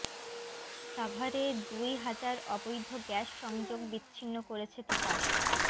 সাভারে দুই হাজার অবৈধ গ্যাস সংযোগ বিছিন্ন করেছে তিতাস